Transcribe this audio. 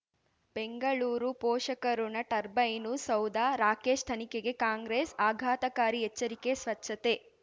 ಬೆಂಗಳೂರು ಪೋಷಕಋಣ ಟರ್ಬೈನು ಸೌಧ ರಾಕೇಶ್ ತನಿಖೆಗೆ ಕಾಂಗ್ರೆಸ್ ಆಘಾತಕಾರಿ ಎಚ್ಚರಿಕೆ ಸ್ವಚ್ಛತೆ